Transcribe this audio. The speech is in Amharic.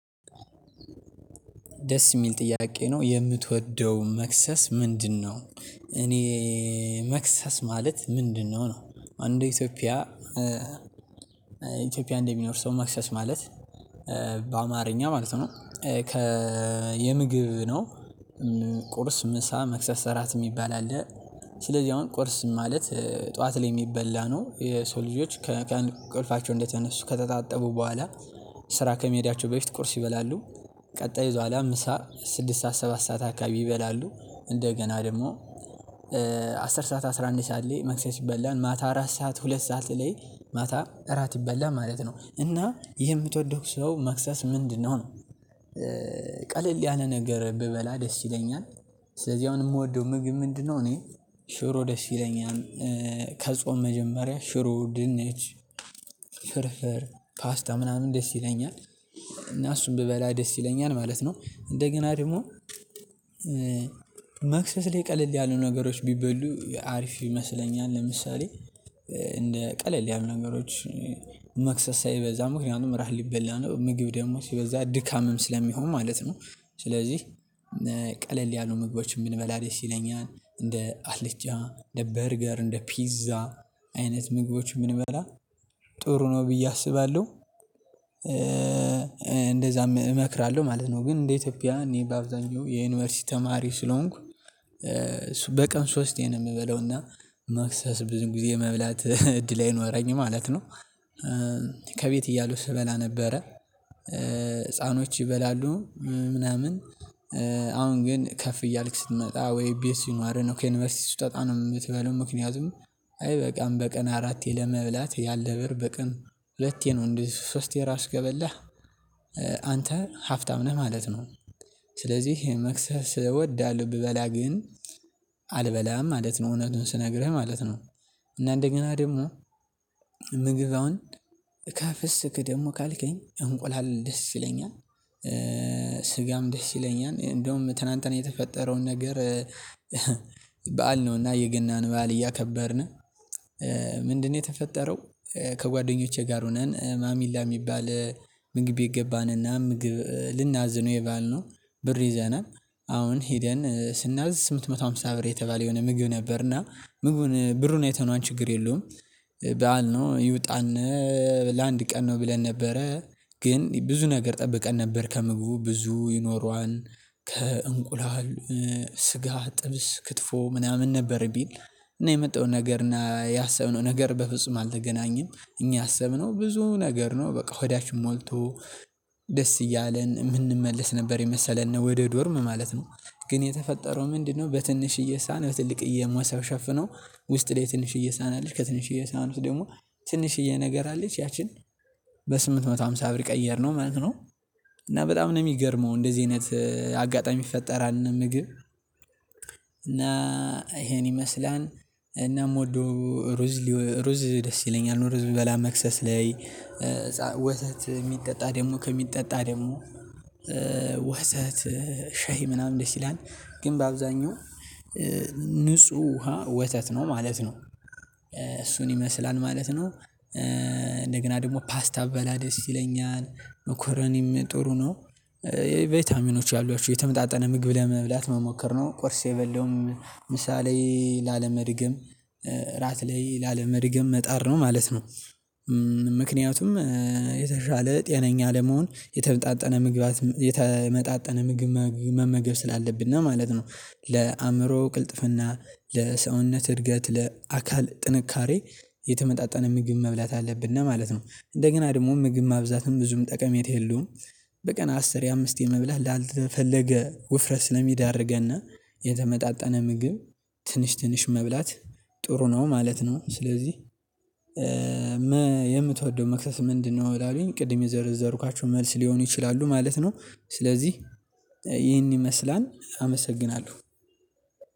ደስ የሚል ጥያቄ ነው የምትወደው መክሰስ ምንድነው? እኔ መክሰስ ማለት ምንድነው ነው እንደ ኢትዮጵያ ኢትዮጵያ እንደሚኖር ሰው መክሰስ ማለት በአማርኛ ማለት ነው ከ የምግብ ነው ቁርስ ምሳ መክሰሰ እራት የሚባል አለ ስለዚህ አሁን ቁርስ ማለት ጠዋት ላይ የሚበላ ነው የሰው ልጆች ከቀን እንቅልፋቸው እንደተነሱ ከተታጠቡ በኋላ ስራ ከመሄዳቸው በፊት ቁርስ ይበላሉ ቀጣይ ከዚያ ኋላ ምሳ ስድስት ሰዓት ሰባት ሰዓት አካባቢ ይበላሉ እንደገና ደግሞ አስር ሰዓት አስራ አንድ ሰዓት ላይ መክሰስ ይበላል ማታ አራት ሰዓት ሁለት ሰዓት ላይ ማታ እራት ይበላል ማለት ነው እና የምትወደው ሰው መክሰስ ምንድነው ነው ቀለል ያለ ነገር ብበላ ደስ ይለኛል ስለዚህ አሁን የምወደው ምግብ ምንድነው እኔ ሽሮ ደስ ይለኛል ከጾም መጀመሪያ ሽሮ ድንች ፍርፍር ፓስታ ምናምን ደስ ይለኛል እና እሱን ብበላ ደስ ይለኛል ማለት ነው እንደገና ደግሞ መክሰስ ላይ ቀለል ያሉ ነገሮች ቢበሉ አሪፍ ይመስለኛል ለምሳሌ እንደ ቀለል ያሉ ነገሮች መክሰስ ሳይበዛ ምክንያቱም እራት ሊበላ ነው ምግብ ደግሞ ሲበዛ ድካምም ስለሚሆን ማለት ነው ስለዚህ ቀለል ያሉ ምግቦችን ብንበላ ደስ ይለኛል እንደ አልጫ እንደ በርገር እንደ ፒዛ አይነት ምግቦች የምንበላ ጥሩ ነው ብዬ አስባለሁ እንደዛም እመክራለሁ ማለት ነው ግን እንደ ኢትዮጵያ እኔ በአብዛኛው የዩኒቨርሲቲ ተማሪ ስለሆንኩ በቀን ሶስቴ ነው የምበለውና መክሰስ ብዙ ጊዜ መብላት እድል አይኖረኝም ማለት ነው ከቤት እያለሁ ስበላ ነበረ ህፃኖች ይበላሉ ምናምን አሁን ግን ከፍ እያልክ ስትመጣ ወይ ቤት ሲኖርህ ነው ከዩኒቨርሲቲ ስትወጣ ነው የምትበለው ምክንያቱም አይበቃም በቀን አራቴ ለመብላት ያለህ ብር በቀን ሁለቴ ነው እንዴ ሶስቴ ራሱ ከበላህ አንተ ሀብታም ነህ ማለት ነው ስለዚህ ይሄ መክሰስ እወዳለሁ ብበላ ግን አልበላም ማለት ነው እውነቱን ስነግርህ ማለት ነው እና እንደገና ደግሞ ምግብ አሁን ከፍስክ ደግሞ ካልከኝ እንቁላል ደስ ይለኛል ስጋም ደስ ይለኛል እንደውም ትላንትና የተፈጠረውን ነገር በዓል ነውና የገናን በዓል እያከበርነ ምንድነው የተፈጠረው ከጓደኞቼ ጋር ሆነን ማሚላ የሚባል ምግብ ገባንና ምግብ ልናዝ ነው የበአል ነው ብር ይዘናል አሁን ሄደን ስናዝ ስምንት መቶ ሃምሳ ብር የተባለ የሆነ ምግብ ነበርና ምግቡን ብሩን አይተነዋል ችግር የለውም በዓል ነው ይውጣነ ለአንድ ቀን ነው ብለን ነበረ ግን ብዙ ነገር ጠብቀን ነበር ከምግቡ ብዙ ይኖረዋን ከእንቁላል ጥብስ ክትፎ ምናምን ነበር የሚል እና የመጣው ነገር እና ያሰብነው ነገር በፍጹም አልተገናኘም እኛ ያሰብነው ብዙ ነገር ነው በቃ ሆዳችን ሞልቶ ደስ እያለን የምንመለስ ነበር የመሰለን ነው ወደ ዶርም ማለት ነው ግን የተፈጠረው ምንድነው በትንሽዬ ሳህን በትልቅየ ሞሰብ ሸፍነው ውስጥ ላይ ትንሽዬ ሳህን አለች ከትንሽዬ ሳህን ውስጥ ደግሞ ትንሽዬ ነገር አለች ያቺን በስምንት መቶ ሃምሳ ብር ቀየርነው ማለት ነው እና በጣም ነው የሚገርመው እንደዚህ አይነት አጋጣሚ ይፈጠራል ምግብ እና ይሄን ይመስላል እና የምወደው ሩዝ ሩዝ ደስ ይለኛል ሩዝ ብበላ መክሰስ ላይ ወተት የሚጠጣ ደግሞ ከሚጠጣ ደግሞ ወተት ሸሂ ምናምን ደስ ይላል ግን በአብዛኛው ንጹህ ውሃ ወተት ነው ማለት ነው እሱን ይመስላል ማለት ነው እንደገና ደግሞ ፓስታ ብበላ ደስ ይለኛል መኮረኒም ጥሩ ነው ቫይታሚኖች አሏችሁ የተመጣጠነ ምግብ ለመብላት መሞከር ነው ቁርስ የበለውም ምሳ ላይ ላለመድገም እራት ላይ ላለመድገም መጣር ነው ማለት ነው ምክንያቱም የተሻለ ጤነኛ ለመሆን የተመጣጠነ ምግባት የተመጣጠነ ምግብ መመገብ ስላለብነ ማለት ነው ለአእምሮ ቅልጥፍና ለሰውነት እድገት ለአካል ጥንካሬ የተመጣጠነ ምግብ መብላት አለብነ ማለት ነው እንደገና ደግሞ ምግብ ማብዛትም ብዙም ጠቀሜታ የለውም በቀን አስሬ አምስቴ መብላት ላልተፈለገ ውፍረት ስለሚዳርገነ የተመጣጠነ ምግብ ትንሽ ትንሽ መብላት ጥሩ ነው ማለት ነው ስለዚህ የምትወደው መክሰስ ምንድነው ላልኸኝ ቅድም የዘረዘርኳቸው መልስ ሊሆኑ ይችላሉ ማለት ነው ይህን ይመስላል አመሰግናለሁ